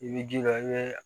I b'i jija i bɛ